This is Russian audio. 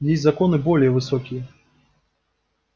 есть законы более высокие